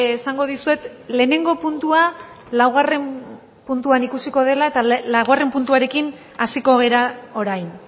esango dizuet lehenengo puntua laugarren puntuan ikusiko dela eta laugarren puntuarekin hasiko gara orain